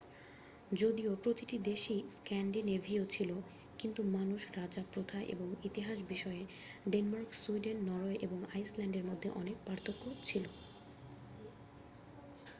যদিও প্রতিটি দেশই স্ক্যান্ডিনেভীয়' ছিল কিন্তু মানুষ রাজা প্রথা এবং ইতিহাস বিষয়ে ডেনমার্ক সুইডেন নরওয়ে এবং আইস ল্যান্ডের মধ্যে অনেক পার্থক্য ছিল